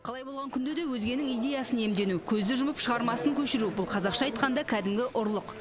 қалай болған күнде де өзгенің идеясын иемдену көзді жұмып шығармасын көшіру бұл қазақша айтқанда кәдімгі ұрлық